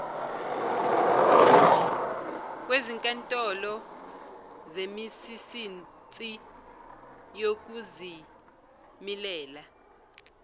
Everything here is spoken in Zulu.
kwezinkantolo zemisinsi yokuzimilela